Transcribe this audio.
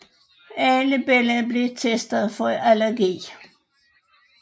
Alle børn blev testet for allergi